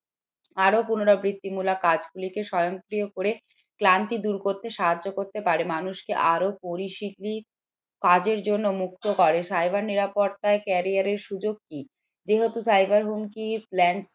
আরো পুনরাবৃত্তিমূলক কাজ গুলিকে স্বয়ংক্রিয় করে ক্লান্তি দূর করতে সাহায্য করে করতে পারে মানুষকে আরো কাজের জন্য মুক্ত করে cyber নিরাপত্তায় career র সুযোগ কি যেহেতু cyber হুমকি